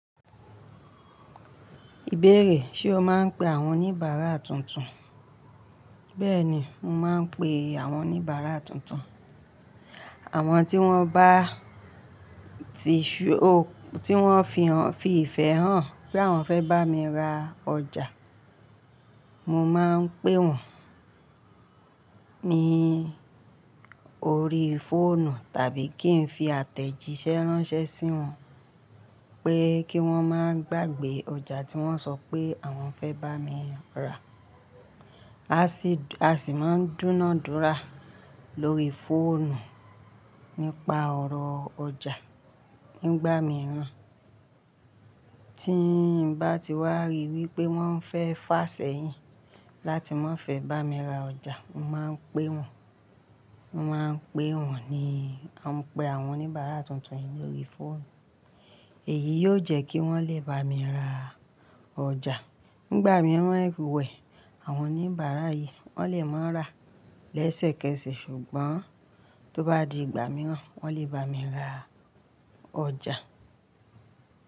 Ìbéèrè, ṣé o máa ń pe àwọn oníbàárà tuntun? Bẹ́ẹ̀ni, mo máa ń pe àwọn oníbàárà tuntun. Àwọn tí wọ́n bá ti show, tí wọ́n fi ìfẹ́ hàn pé àwọn fẹ́ bá mi ra ọjà, mo máa ń pe wọ́n ní orí fóònù tàbí kí n fi àtẹ̀jíṣẹ́ ránṣẹ́ sí wọn pé kí wọ́n máa gbàgbé ọjà tí wọ́n sọ pé àwọn fẹ́ bá mi ra. A sì máa ń dúnaúdúra lórí fóònù nípa ọ̀rọ̀ ọjà nígbà mìíràn. Tí mbati wà rí wípé wọ́n fẹ́ fa senyin láti mafe bami ra ọjà, mo man pe wọ́n, mo man pe wọ́n ní- man pe àwọn onibara tuntun lórí fóònù. Èyí yo jẹ́ kí wọ́n lè bami ra ọjà nígbà miran ewe, àwọn onibara yi, wọ́n lè ma rà lẹ́sẹ̀kẹsẹ̀, ṣùgbọ́n, tó bá di ìgbà miran, wọ́n lè bami ra ọjà.